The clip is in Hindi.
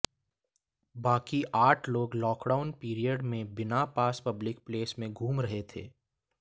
बाकी आठ लोग लॉकडाउन पीरियड में बिना पास पब्लिक प्लेस में घूम रहे थे